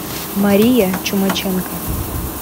мария чумаченко